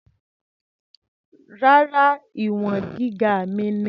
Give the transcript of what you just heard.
Rárá, ìwọ̀n gíga mi ni.